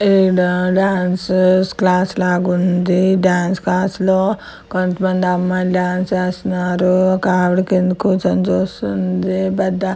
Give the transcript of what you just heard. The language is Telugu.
ఈడా డాన్సన్స్ క్లాస్లాగుంది డాన్స్ క్లాస్లో కొంతమంది అమ్మాయిలు డాన్స్ ఏస్తన్నారు ఒక ఆవిడ కింద కూర్చొని చూస్తుంది పెద్దా --